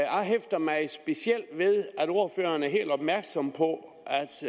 jeg hæfter mig specielt ved at ordføreren er helt opmærksom på